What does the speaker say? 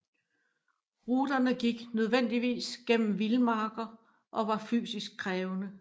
Ruterne gik nødvendigvis gennem vildmarker og var fysisk krævende